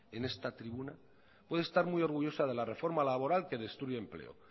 en esta tribuna puede estar muy orgullosa de la reforma laboral que destruye empleo